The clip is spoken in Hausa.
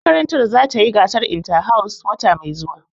Makarantar za ta yi gasar inta-house wata mai zuwa